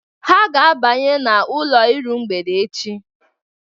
Ha ga-abanye n'ụlọ iru mgbede echi.